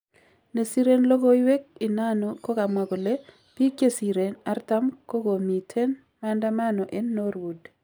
Nesiren logowek inano kokamwa kole pik chesiren 40 kokomiten maandamano en norwood.